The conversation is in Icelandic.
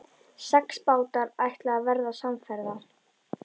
Sex bátar ætluðu að verða samferða.